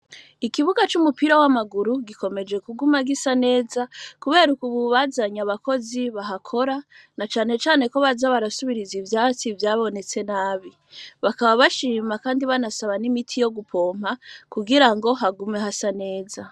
Ikibuga c'umupira w'amaguru gikomeje kuguma gisa neza, kubera uk ububazanyi abakozi bahakora na canecane ko baza barasubiriza ivyatsi ivyabonetse nabi bakaba bashima, kandi banasaba n'imiti yo gupompa kugira ngo hagume hasa neza.